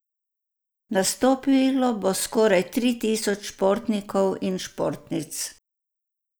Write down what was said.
Nastopilo bo skoraj tri tisoč športnikov in športnic.